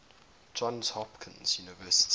johns hopkins university